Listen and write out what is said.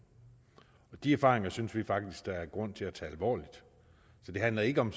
og de erfaringer synes vi faktisk der er grund til at tage alvorligt så det handler ikke om